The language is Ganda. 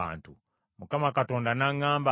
Mukama Katonda n’aŋŋamba nti,